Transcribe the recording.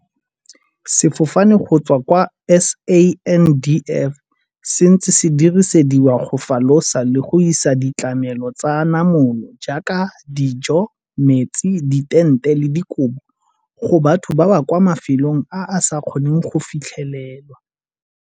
"Sefofane go tswa kwa SANDF se ntse se dirisediwa go falosa le go isa ditlamelo tsa namolo tse di jaaka dijo, metsi, ditente le dikobo go batho ba ba kwa mafelong a a sa kgoneng go fitlhelelwa."